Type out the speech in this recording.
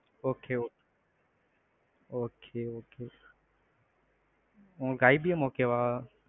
okay, okay okay, okay. உங்களுக்கு IBM okay வா?